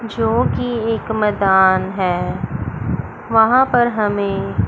जोकि एक मैदान है वहाँ पर हमें--